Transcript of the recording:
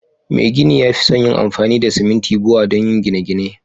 Mai gini ya fi son yin amfani da simintin Bua donyi gine gine